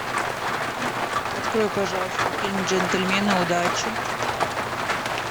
открой пожалуйста фильм джентльмены удачи